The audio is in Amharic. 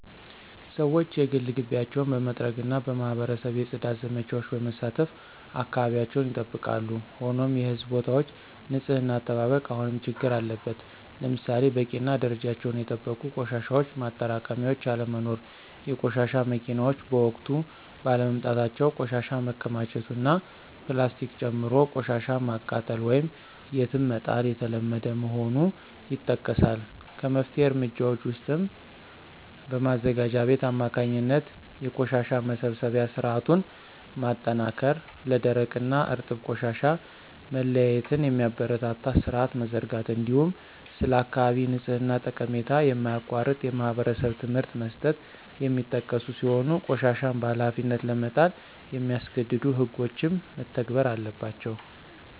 ሰዎች የግል ግቢያቸውን በመጥረግና በማኅበረሰብ የፅዳት ዘመቻዎች በመሳተፍ አካባቢያቸውን ይጠብቃሉ። ሆኖም የሕዝብ ቦታዎች ንፅህና አጠባበቅ አሁንም ችግር አለበት። ለምሳሌ በቂና ደረጃቸውን የጠበቁ የቆሻሻ ማጠራቀሚያዎች አለመኖር፣ የቆሻሻ መኪናዎች በወቅቱ ባለመምጣታቸው ቆሻሻ መከማቸቱ እና ፕላስቲክን ጨምሮ ቆሻሻን ማቃጠል ወይም የትም መጣል የተለመደ መሆኑ ይጠቀሳል። ከመፍትሄ እርምጃዎች ውስጥም በማዘጋጃ ቤት አማካኝነት የቆሻሻ መሰብሰቢያ ሥርዓቱን ማጠናከር፣ ለደረቅና እርጥብ ቆሻሻ መለያየትን የሚያበረታታ ሥርዓት መዘርጋት፣ እንዲሁም ስለ አካባቢ ንጽሕና ጠቀሜታ የማያቋርጥ የማኅበረሰብ ትምህርት መስጠት የሚጠቀሱ ሲሆን ቆሻሻን በኃላፊነት ለመጣል የሚያስገድዱ ሕጎችም መተግበር አለባቸው።